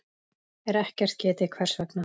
er ekkert getið hvers vegna.